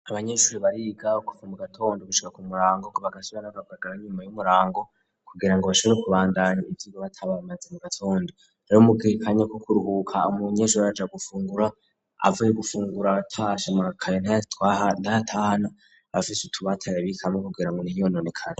Abanyeshuri bariga kuva mu gatondu ubushika ku murango kubagashibanakabagara nyuma y'umurango kugira ngo bashobore kubandanya ivyigo batabamaze mu gatondu rariumugiikanyako kuruhuka amu nyeshura raja gufungura avuye gufungura abatashamakayo ntatwah ntahtahana abafise utubatayabikaamo kugira ngo ntiyononekane.